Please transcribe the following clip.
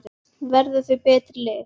Verða þau betri lið?